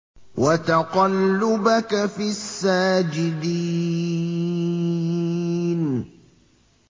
وَتَقَلُّبَكَ فِي السَّاجِدِينَ